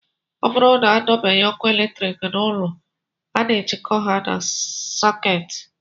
Ọ bụrụ na adọbanye ọkụ eletrik n'ụlọ, a na-ejikọta ha na sakiut